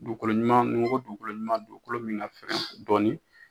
Dugukolo ɲuman ni n ko dugukolo ɲuman dugukolo min ka fɛgɛn dɔɔni.